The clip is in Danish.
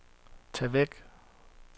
tag væk